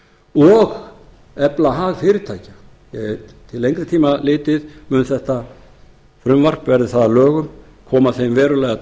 og efla hag fyrirtækja því til lengri tíma litið mun þetta frumvarp verði það að lögum koma þeim verulega til